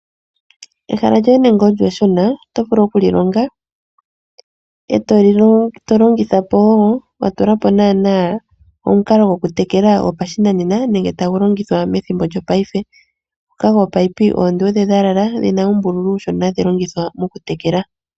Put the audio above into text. Ehala lyoye nande olyo eshona otovulu oku lilonga eto longithapo woo watulapo naana omukalo gokutekela gopashinanena nenge tagu longithwa methimbo lyo payife ngoka gominino oonduudhe dhalala dhina uumbululu uushona hadhi longithwa moku tekela.